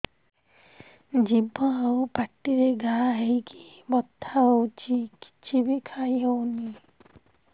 ଜିଭ ଆଉ ପାଟିରେ ଘା ହେଇକି ବଥା ହେଉଛି କିଛି ବି ଖାଇହଉନି